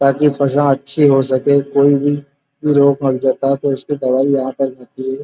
ताकि फसण अच्छी हो सके कोई भी रोग मर जाता है तो उसकी दवाइ यहाँ पर मिलती है।